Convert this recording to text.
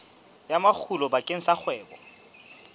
ya makgulo bakeng sa kgwebo